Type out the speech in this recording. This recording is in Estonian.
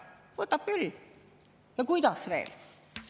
Võtab küll ja kuidas veel.